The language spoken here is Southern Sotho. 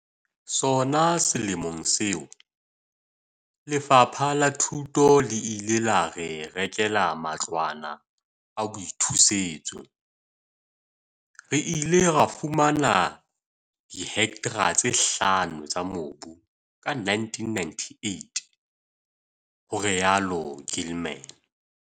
"Sona selemong seo, Lefapha la Thuto le ile la re rekela matlwana a boithusetso. Re ile ra fumana dihektra tse hlano tsa mobu ka 1998," ho rialo Gilman.